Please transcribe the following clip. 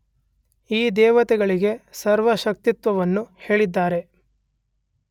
ಈ ದೇವತೆಗಳಿಗೆ ಸರ್ವಶಕ್ತಿತ್ವವನ್ನೂ ಹೇಳಿದ್ದಾರೆ.